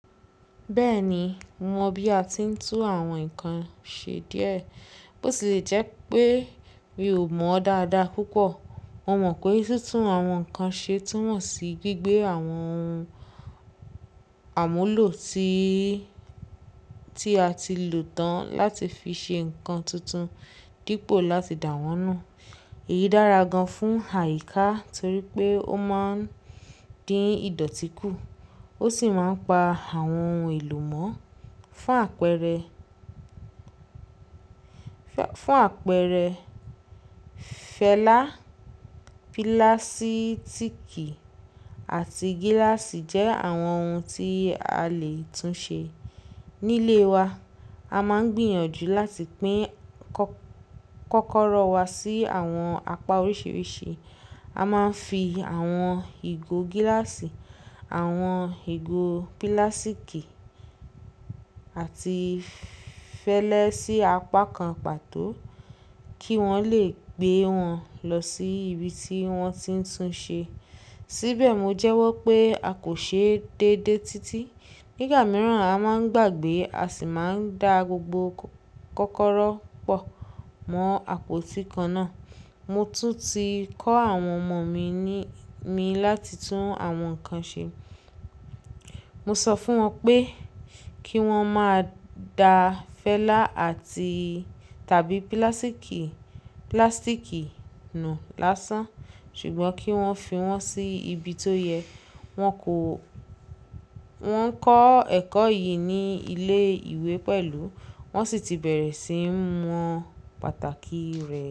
Bẹ́ẹ̀ni, mo mọ̀ bí a ti ń tún àwọn nǹkan ṣe díẹ̀, bó ti lè jẹ́ pé mi ò mọ̀ dáadáa púpọ̀. Mo mọ̀ pé títún àwọn nǹkan ṣe túmọ̀ sí gbígbé àwọn ohun àmúlò tí, tí a ti lò tán láti fi ṣe nǹkan tuntun dípò láti dà wọ́n nù. Èyí dára gan-an fún àyíká torí pé ó máa ń dín ìdọ̀tí kù ó sì máa ń pa àwọn ohun èlò mó. Fún àpẹẹrẹ, fún àpẹẹrẹ fẹlá, pílásítíkì àti gíláàsì jẹ́ àwọn ohun tí a lè tún ṣe. Nílé wa, a máa ń gbìyànjú láti pín kọ́kọ́rọ́ wa sí àwọn apá oríṣiríṣi. A máa ń fi àwọn ìgò gíláàsì, àwọn ìgò pílásíkì àti fẹlẹ sí apá kan pàtó kí wọ́n lè gbé wọn lọ sí ibi tí wọ́n ti ń tún ṣe. Síbẹ̀ mo jẹ́wọ́ pé a kò ṣe déédé títí. Ní ìgbà mìíràn a máa ń gbàgbé a sì máa ń da gbogbo kọ́kọ́rọ́ pọ̀ mọ́ àpótí kan náà. Mo tún ti kọ́ àwọn ọmọ mi ní, mi láti tún àwọn nǹkan ṣe. Mo sọ fún wọn pé kí wọ́n máa da fẹlá àti tàbí pílásíkì, pílásítíkì nu lásán ṣùgbọ́n kí wọ́n fi wọ́n sí ibi tó yẹ. Wọn kò, wọ́n ń kọ́ ẹ̀kọ́ yìí ní ilé ìwé pẹ̀lú wọ́n sì ti bẹ̀rẹ̀ sí ń mọ pàtàkì rẹ̀